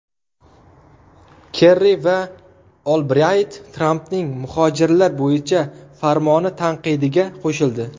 Kerri va Olbrayt Trampning muhojirlar bo‘yicha farmoni tanqidiga qo‘shildi.